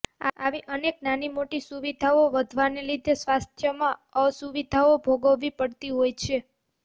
આવી અનેક નાની મોટી સુવિધાઓ વધવાને લીધે સ્વાસ્થ્યમાં અસુવિધાઓ ભોગવવી પડતી હોય છે